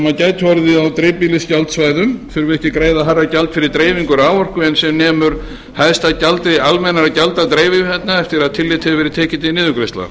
á dreifbýlisgjaldsvæðum þurfi ekki að greiða hærra gjald fyrir dreifingu raforku en sem nemur hæsta gjaldi almennra gjalda dreifiveitna eftir að tillit hefur verið tekið til niðurgreiðslna